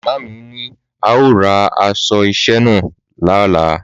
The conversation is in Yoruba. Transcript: Màmá mi ní a ó ra aṣọ iṣẹ́ náà lọ́la